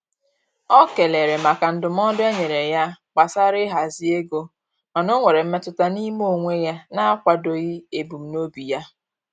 O kelere maka ndụmọdụ e nyere ya gbasara ịhazi ego, mana o nwere mmetụta n'ime onwe ya na-akwadoghị ebumnobi ya.